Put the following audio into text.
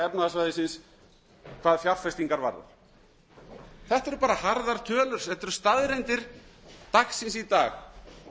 efnahagssvæðisins hvað fjárfestingar varðar þetta eru bara harðar tölur þetta eru staðreyndir dagsins í dag